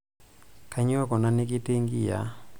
kanyoo kuna nekitii inkiyiaa